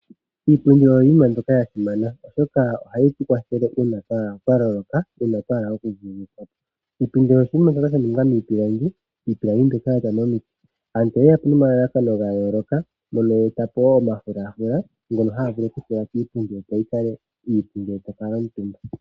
Iipundi oyo Iinima yasimana oshoka ohayi tukwathele uuna twa loloka twahala okuthuwapo. Iipundi oyo tuu mbyoka yaningwa miipilangi iipilangi yaza momiti. Aantu oye yapo nomalalakano gayooloka mono yeetapo wo omafulafula ngono haga vulu okutulwa kiipundi, opo yikale iipu uuna tokala omutumba.